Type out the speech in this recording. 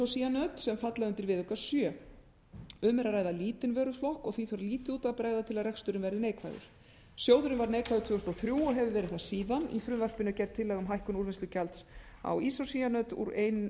á ísócýanöt sem falla undir viðauka sjöunda um er að ræða lítinn vöruflokk og því þarf lítið út af að bregða til að reksturinn verði neikvæður sjóðurinn varð neikvæður tvö þúsund og þrjú og hefur verið það síðan í frumvarpinu er gerð tillaga um hækkun úrvinnslugjalds á ísócýanöt úr